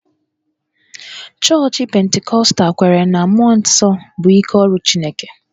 Chọọchị Pentikọstal kweere na mmụọ nsọ bụ ike ọrụ Chineke